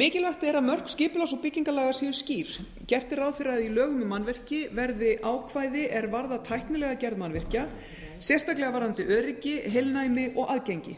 mikilvægt er að mörk skipulags og byggingarlaga séu skýr gert er ráð fyrir að í lögum um mannvirki verði ákvæði er varða tæknilega gerð mannvirkja sérstaklega varðandi öryggi heilnæmi og aðgengi